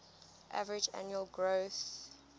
average annual growth